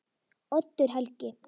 Oddur Helgi.